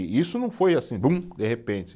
E isso não foi assim, bum, de repente.